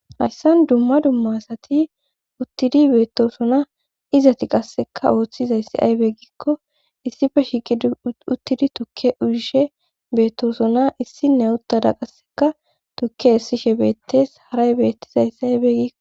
hayssan dumma dumma asati uttidi beettosona izati qasseka ooththizayssi aybe ggikko issife shiiqi uttidi tukke urishe beettosona issinne uttada qasseka tukke essishe beettes haray beettizayssi aybe gikko